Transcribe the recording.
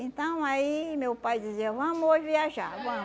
Então, aí meu pai dizia, vamos hoje viajar.